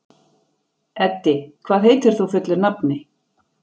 Eddi, hvað heitir þú fullu nafni?